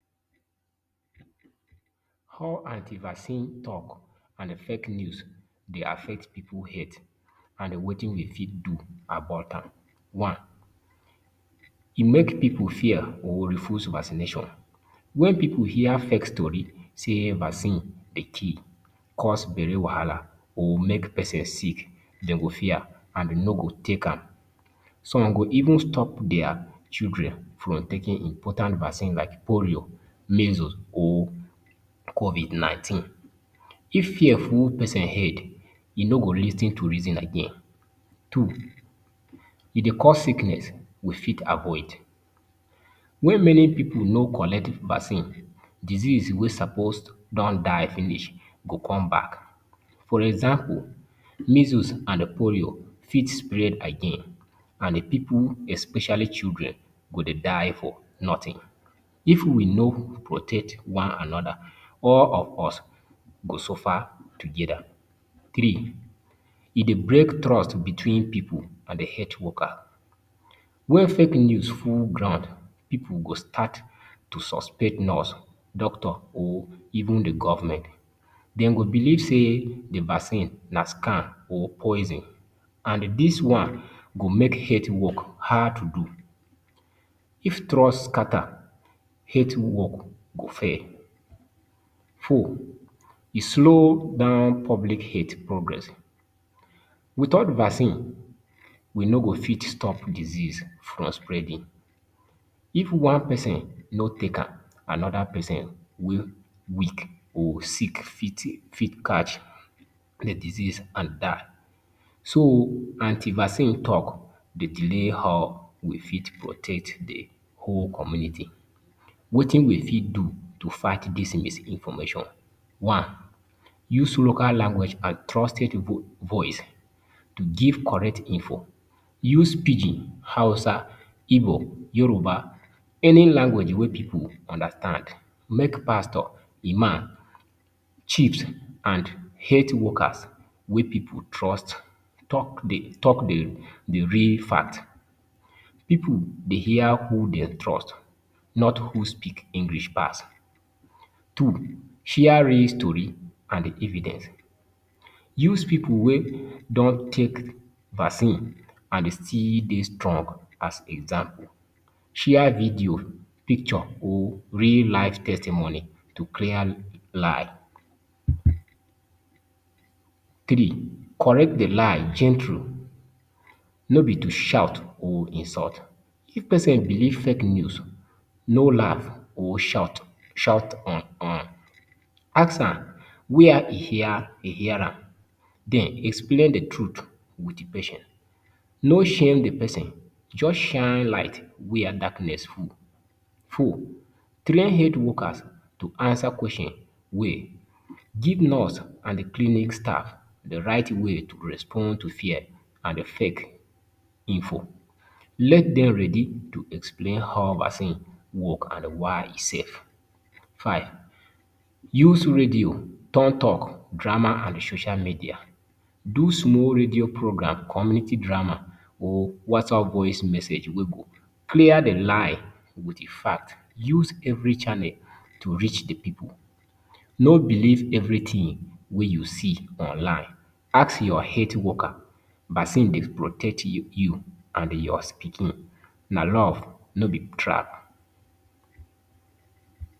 How anti-vaccine drug and fake news they affect pipu health and the wetin Dey fit do to make about am. One, It make pipu fear or refuse vaccination. When people hear fake stories say vaccines Dey kill, cause belle wahala or make people sick. Den go fear and dem ni go take am some go even stop their children from taking important vaccine like polio, Measles or even Covid 19, if fear full persin head he no go lis ten to reason again, two, e Dey cause sickness we got avoid, wen many pipu no collect vaccine, disease wey suppose don die finish go come back. For example measles and poli for spread again and pipu especially children go Dey die for nothing, if we no protect one anoda all of us go sufa togeda, three e Dey break trust between pipu And health worker, When fake news full ground, people go start to suspect nurse, doctor, or even the government. Then go believe say the vaccine, na scam, or poison. And this one go make health work hard to do. If trust scatter, health work go fail. Four, E slow down public health progress. Without vaccine, we no go fit stop disease from spreading. If one person no take am, another person wey weak or sick fit catch the disease and die. So, anti-vaccine talk delay how we fit protect the whole community. Four, E slow down public health progress. Without vaccine, we no go fit stop disease from spreading. If one person no take am, another person wey weak or sick fit catch the disease and die. So, anti-vaccine talk delay how we fit protect the whole community.wetin we fit do to fight this misinformation one, use local language and trusted voice to give correct info. use pidgin, hausa, igbo, yoruba, any language wey people understand make pastor, imam, chief and health worker wey people trust alk dey real fact people dey trust not who speak english pass Two, Share real story and evidence. Use people wey don take vaccine and don dey strong as example. Share video, picture or real-life testimony to clear lie. Three, Correct the lie, with true. No need to shout or insult. If person believe fake news, no laugh or shout. Ask am where hin hear am. Then explain the truth with the patience, No shame the person, just shine light, were darkness full. Four, Train health workers to answer questions well. give nurse and the clinic staff the right way to respond to fear and fake info. Make them ready to explain how vaccine work and why e safe. Five, Use radio, drama, and social media. Do small radio program, community drama, or WhatsApp voice message. Clear the line with facts. Use every channel to reach the people. No believe evrything we you see online. Ask your health work vaccine Dey protect protect you and your pikin. Na love, no be trap.